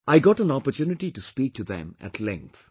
I got an opportunity to speak to them at length